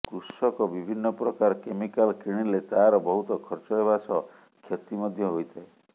କୃଷକ ବିଭିନ୍ନ ପ୍ରକାର କେମିକାଲ କିଣିଲେ ତାର ବହୁତ ଖର୍ଚ୍ଚ ହେବା ସହ ଖ୍ଯତି ମଧ୍ଯ ହୋଇଥାଏ